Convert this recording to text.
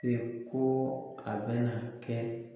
ko a bɛna kɛ